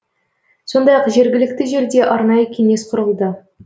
сондай ақ жергілікті жерде арнайы кеңес құрылды